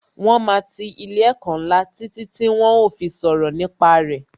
Wọn máa ti ilé ẹ̀kọ́ ńlá títí tí wón ó fi sọ̀rọ̀ nípa re